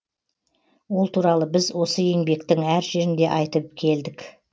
ол туралы біз осы еңбектің әр жерінде айтып келдік